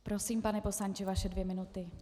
Prosím, pane poslanče, vaše dvě minuty.